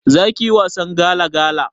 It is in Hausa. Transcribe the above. Zakiyi wasan gala gala?